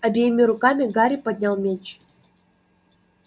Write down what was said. обеими руками гарри поднял меч